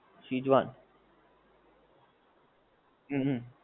schezwan હમ હમ